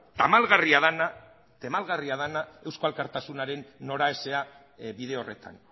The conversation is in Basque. tamalgarria dena eusko alkartasunaren noraeza bide horretan